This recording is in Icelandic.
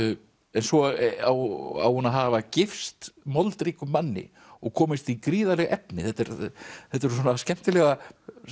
en svo á hún að hafa gifst moldríkum manni og komist í gríðarleg efni þetta eru þetta eru skemmtilegar